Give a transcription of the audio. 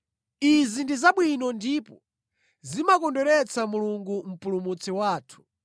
Izi ndi zabwino ndipo zimakondweretsa Mulungu Mpulumutsi wathu,